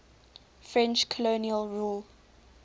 french colonial rule